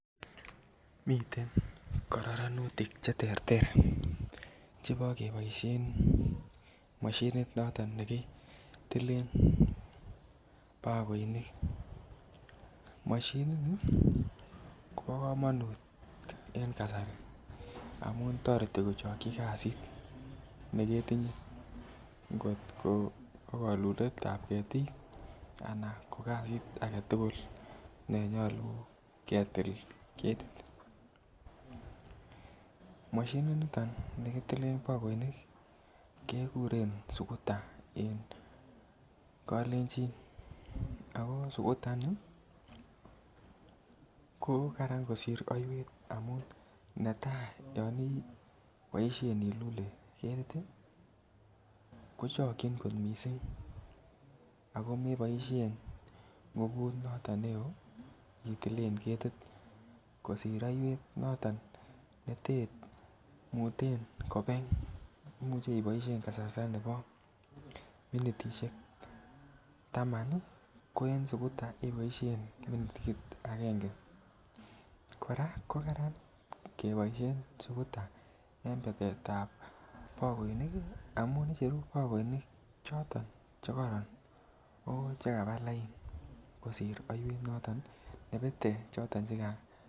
Miten kororonutik choton Che terter chebo keboisien mashinit noton nekitile bakoinik mashinini kobo kamanut en kasari amun toreti kochokyi kasit neketinye angot ko kaluletab ketik anan ko kasit age tugul ne nyolu ketil ketit mashininito nekitile bakoinik keguren sukuta en kalenjin ko Karan kosir aiywet amun netai ko olon iboisien ilule ketit ii kochokyin kot mising ako me boisien nguvut neo itilen ketit kosir aiywet noton nemuten kobeng Imuch iboisien minitisiek Taman ko en sukuta iboisien minitit agenge kora ko Kararan keboisien sukuta en betet ab bakoinik amun icheru bakoinik choto Che kororon ako Chekaba lain kosir aiywet nebete choton Che yachen